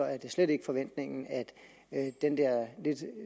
er slet ikke forventningen at det lidt